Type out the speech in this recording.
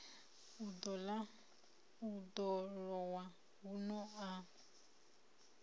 u ḓo lowa huno a